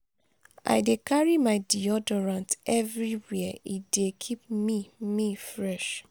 i dey carry my deodorant everywhere; e dey keep me me fresh.